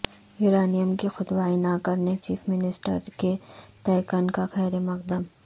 uranium کی کھدوائی نہ کرنے چیف منسٹر کے تیقن کا خیرمقدم